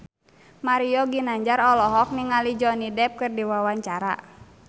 Mario Ginanjar olohok ningali Johnny Depp keur diwawancara